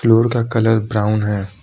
Road का colour brown है।